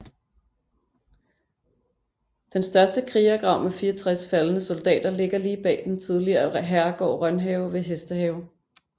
Den største krigergrav med 64 faldne soldater ligger bag den tidligere herregård Rønhave ved Hestehave